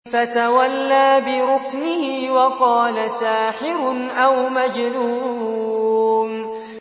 فَتَوَلَّىٰ بِرُكْنِهِ وَقَالَ سَاحِرٌ أَوْ مَجْنُونٌ